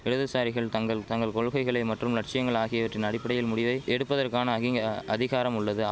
இடதுசாரிகள் தங்கள் தங்கள் கொள்கைகளை மற்றும் லட்சியங்கள் ஆகியவற்றின் அடிப்படையில் முடிவை எடுப்பதற்கான அகிங்க அதிகாரம் உள்ளது